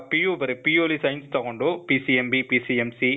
PU ಬರೆ. PU ಅಲ್ಲಿ science ತಗೊಂಡು, PCMB, PCMC ,